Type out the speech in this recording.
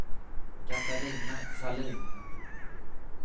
Catarina Sahlin